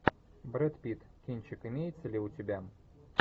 брэд питт кинчик имеется ли у тебя